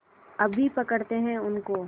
अभी पकड़ते हैं उनको